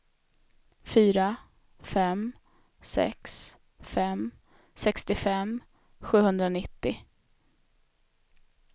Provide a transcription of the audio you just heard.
fyra fem sex fem sextiofem sjuhundranittio